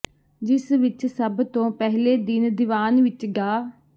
ਜਿਸ ਵਿੱਚ ਸਭ ਤੋਂ ਪਹਿਲੇ ਦਿਨ ਦੀਵਾਨ ਵਿੱਚ ਡਾ